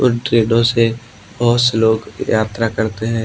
ट्रेनों से बहुत से लोग यात्रा करते हैं।